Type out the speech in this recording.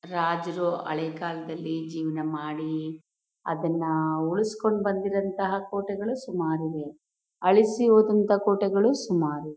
ರಾಜರು ಹಳೆ ಕಾಲದಲ್ಲಿ ಜೀವನ ಮಾಡಿ ಅದನ್ನ ಉಳ್ಸ್ಕೊಂಡ್ ಬಂದಿರೋ ಅಂತಹ ಕೋಟೆಗಳು ಸುಮಾರ್ ಇದೆ ಅಳಿಸಿ ಹೋದಂತ ಕೋಟೆಗಳು ಸುಮಾರ್ ಇದೆ.